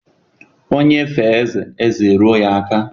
Onye fee ezé, ezé eruo ya aka.